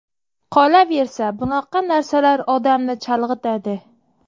Qolaversa, bunaqa narsalar odamni chalg‘itadi.